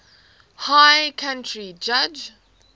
high court judge